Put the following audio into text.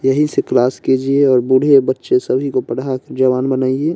यहीं से क्लास कीजिए और बूढ़े और बच्चे सभी को पढ़ा के जवान बनाइए।